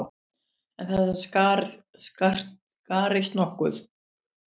En þetta skarist nokkuð.